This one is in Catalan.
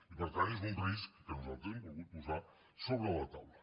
i per tant és un risc que nosaltres hem volgut posar sobre la taula